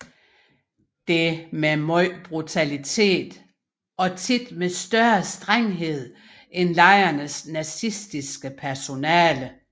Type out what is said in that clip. Dette med megen brutalitet og ofte med større strenghed end lejrenes nazistiske personale